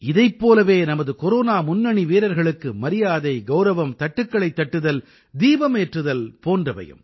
இதைப் போலவே நமது கொரோனா முன்னணி வீரர்களுக்கு மரியாதை கௌரவம் தட்டுக்களைத் தட்டுதல் தீபமேற்றுதல் போன்றவையும்